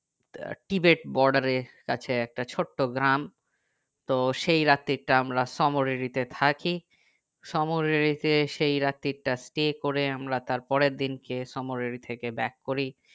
আহ Tibet border এর কাছে একটা ছোট্ট গ্রাম তো সেই রাত্রি তা আমরা সোমরিরি তে থাকি সোমরিরিতে সেই রাত্রি তা stay করে আমরা তার পরের দিন কে সোমরিরি থেকে back করি